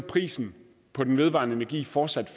prisen på den vedvarende energi fortsat